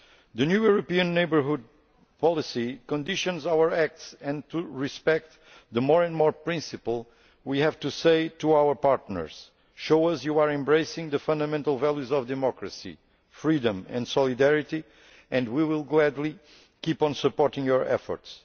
The new European Neighbourhood Policy conditions our acts, and in order to respect the more for more' principle, we have to say to our partners show us that you are embracing the fundamental values of democracy, freedom and solidarity and we will gladly keep on supporting your efforts.